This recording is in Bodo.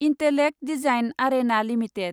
intellect Design Arena limited